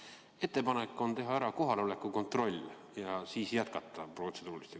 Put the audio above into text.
On ettepanek teha ära kohaloleku kontroll ja siis jätkata protseduuri.